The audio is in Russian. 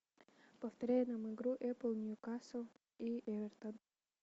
повторяй нам игру апл ньюкасл и эвертон